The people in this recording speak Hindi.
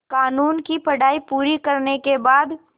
क़ानून की पढा़ई पूरी करने के बाद